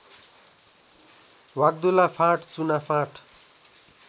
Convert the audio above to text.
Vagdula font चुनाफाँट